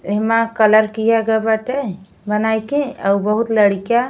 एहिमा colour किया गए बाटे बनाई के अउ बहुत लडीका --